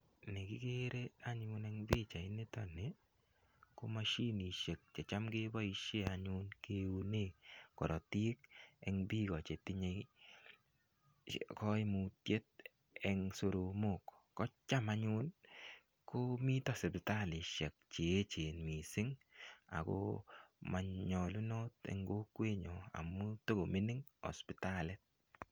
Nekikere anyun eng pichait nitokni ko machinishek checham keboishen chekiune korotik eng piko chetinye koimutiet eng soromok kocham anyun komito sipitalishek cheechen mising Ako manyolunot eng kokwenyo amu tokomining hospitalit